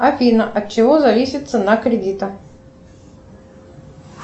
афина от чего зависит цена кредита